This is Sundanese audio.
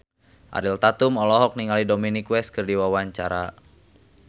Ariel Tatum olohok ningali Dominic West keur diwawancara